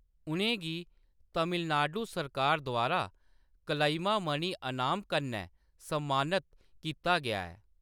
उʼनें गी तमिलनाडु सरकार द्वारा कलईमामणि अनाम कन्नै सम्मानित कीता गेआ ऐ।